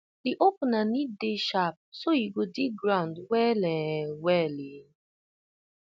the opener need dey sharp so e go dig ground well um well um